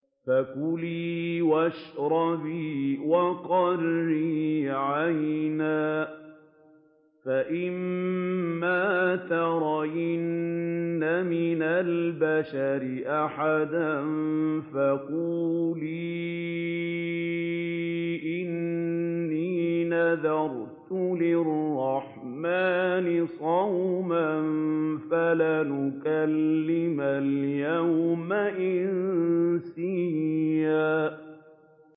فَكُلِي وَاشْرَبِي وَقَرِّي عَيْنًا ۖ فَإِمَّا تَرَيِنَّ مِنَ الْبَشَرِ أَحَدًا فَقُولِي إِنِّي نَذَرْتُ لِلرَّحْمَٰنِ صَوْمًا فَلَنْ أُكَلِّمَ الْيَوْمَ إِنسِيًّا